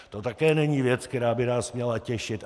To také není věc, která by nás měla těšit.